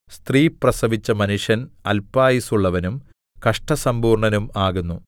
സ്ത്രീ പ്രസവിച്ച മനുഷ്യൻ അല്പായുസ്സുള്ളവനും കഷ്ടസമ്പൂർണ്ണനും ആകുന്നു